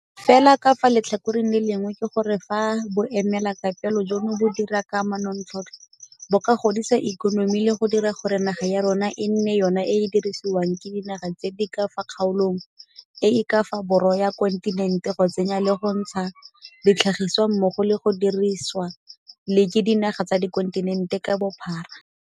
Fela ka fa letlhakoreng le lengwe ke gore fa boemelakepe jono bo dira ka manontlhotlho, bo ka godisa ikonomi le go dira gore naga ya rona e nne yona e e dirisiwang ke dinaga tse di ka fa kgaolong e e ka fa borwa ya kontinente go tsenya le go ntsha ditlhagisiwa mmogo le go dirisiwa le ke dinaga tsa kontinente ka bophara.